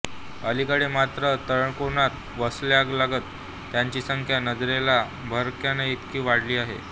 अलीकडे मात्र तळकोकणात वस्त्यालगत त्याची संख्या नजरेला भरण्याइतकी वाढली आहे